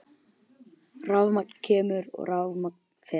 Rafmagn kemur og rafmagn fer.